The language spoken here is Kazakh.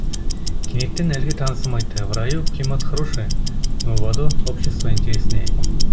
кенеттен әлгі танысым айтты в раю климат хороший но в аду общество интереснее